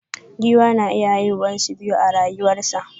Giwa na iya haihuwa su biya a rayuwa sa.